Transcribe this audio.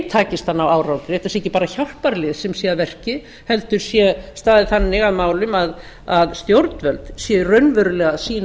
takist að ná árangri þetta sé ekki bara hjálparlið sem sé að verki heldur sé staðið þannig að málum að stjórnvöld séu raunverulega að sýna